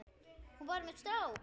Hún var með strák!